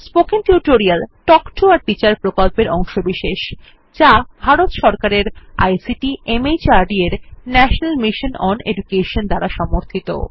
spoken tutorial talk to a teacher প্রকল্পের অংশবিশেষ যা ভারত সরকারের আইসিটি মাহর্দ এর ন্যাশনাল মিশন ওন এডুকেশন দ্বারা সমর্থিত